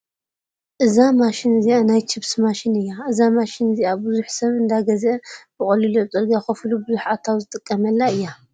እዛ ማሽን እዚኣ ናይ ችፕስ ማሽን እያ እዛ ማሽን እዚኣ ቡዙሕ ሰብ እንዳገዛአ ብቀሊሉ ኣብ ፅርግያ ኮፍ ኢሉ ቡዙሕ ኣታዊ ዝጥቀመላ እዩ።